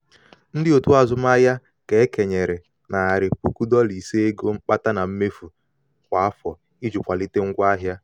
ndị otu azụmaahịa ka e kenyere narị puku dọla ise ego mkpata na mmefu na mmefu kwa afọ iji kwalite ngwa ahịa.